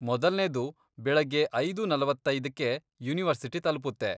ಮೊದಲ್ನೇದು ಬೆಳಗ್ಗೆ ಐದೂ ನಲವತ್ತೈದ್ಕ್ಕೆ ಯೂನಿವರ್ಸಿಟಿ ತಲುಪುತ್ತೆ.